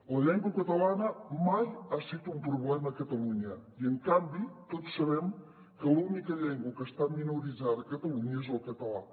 la llengua catalana mai ha set un problema a catalunya i en canvi tots sabem que l’única llengua que està minoritzada a catalunya és el català